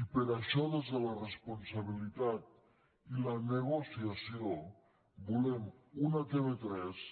i per això des de la responsabilitat i la negociació volem una tv3